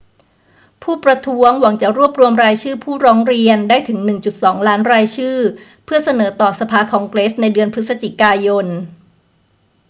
ผู้ประท้วงหวังจะรวบรวมรายชื่อผู้ร้องเรียนได้ถึง 1.2 ล้านรายชื่อเพื่อเสนอต่อสภาคองเกรสในเดือนพฤศจิกายน